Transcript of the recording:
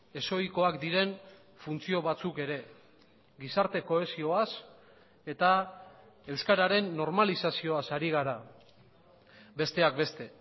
ez ohikoak diren funtzio batzuk ere gizarte kohesioaz eta euskararen normalizazioaz ari gara besteak beste